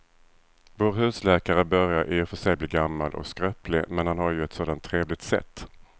Vår husläkare börjar i och för sig bli gammal och skröplig, men han har ju ett sådant trevligt sätt!